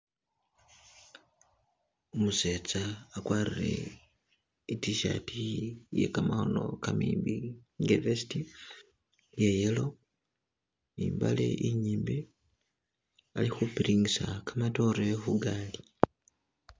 Umusetsa agwarile itishaati ye gamakhono gamimbi nga vest iya yellow ni mbale inyimbi bali khubiringisa gamadore khugaali.